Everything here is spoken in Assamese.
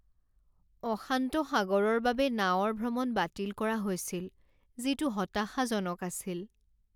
অশান্ত সাগৰৰ বাবে নাৱৰ ভ্ৰমণ বাতিল কৰা হৈছিল, যিটো হতাশাজনক আছিল।